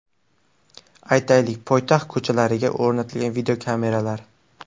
Aytaylik, poytaxt ko‘chalariga o‘rnatilgan videokameralar.